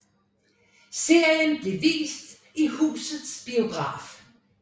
Serien blev vist i Husets Biograf